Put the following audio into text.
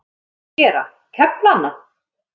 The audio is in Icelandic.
Hvað á ég að gera, kefla hana?